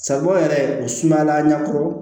Sabu yɛrɛ o sumala ɲakɔrɔ